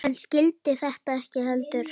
Hann skildi þetta ekki heldur.